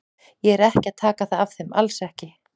Ég er ekki að taka það af þeim, alls ekki.